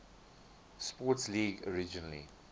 sports league originally